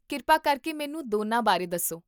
ਕਿਰਪਾ ਕਰਕੇ ਮੈਨੂੰ ਦੋਨਾਂ ਬਾਰੇ ਦੱਸੋ